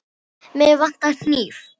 Mig vantar hníf.